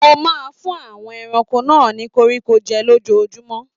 Mo máa n fún àwọn ẹranko náà ni koríko jẹ lójoojúmọ́.